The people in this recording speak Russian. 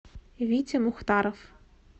витя мухтаров